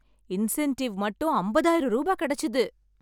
incentive மட்டும் ஐம்பதாயிரம் ரூபா கிடைச்சுது